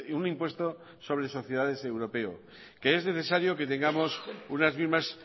un impuesto sobre sociedades europeo que es necesario que tengamos unas mismas